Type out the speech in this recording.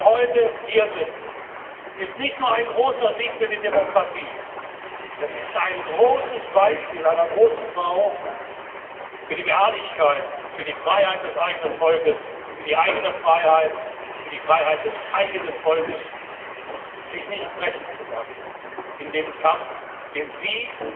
Dass Sie heute hier sind, ist nicht nur ein großer Sieg für die Demokratie, es ist ein großes Beispiel einer großen Frau für die Beharrlichkeit, für die Freiheit des eigenen Volkes, für die eigene Freiheit, sich nicht brechen zu lassen in dem Kampf, den Sie